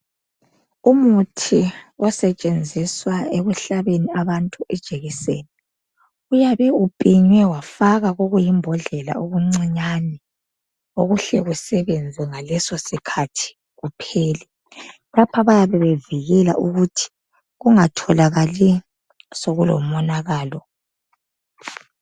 Umuthi osetshenziswa ekuhlabeni abantu ijekiseni uyabe upinywe wafakwa kokuyimbodlela okuncinyane okuhle sebenze ngaleso sikhathi uphele. Lapha bayabe bevikela ukuthi kungatholakali sokulo monakalo.